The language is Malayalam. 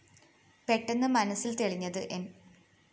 പെട്ടെന്ന് മനസ്സില്‍ തെളിഞ്ഞത് ന്‌